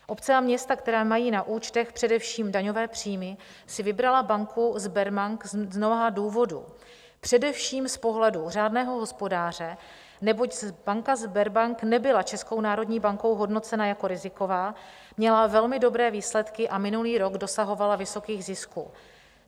Obce a města, které mají na účtech především daňové příjmy, si vybraly banku Sberbank z mnoha důvodů, především z pohledu řádného hospodáře, neboť banka Sberbank nebyla Českou národní bankou hodnocena jako riziková, měla velmi dobré výsledky a minulý rok dosahovala vysokých zisků.